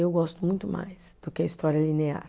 Eu gosto muito mais do que a história linear.